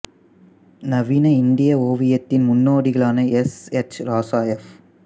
நவீன இந்திய ஓவியத்தின் முன்னோடிகளான எஸ் எச் ராசா எஃப்